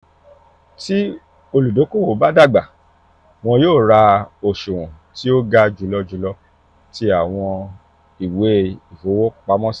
ti oludokoowo ba dagba wọn yoo ra oṣuwọn ti o ga julọ julọ ti awọn iwe ifowopamosi.